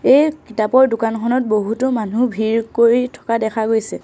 এই কিতাপৰ দোকানখনত বহুতো মানুহ ভিৰ কৰি থকা দেখা গৈছে।